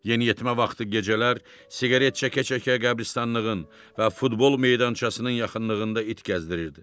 Yeniyetmə vaxtı gecələr siqaret çəkə-çəkə qəbirstanlığın və futbol meydançasının yaxınlığında it gəzdirirdi.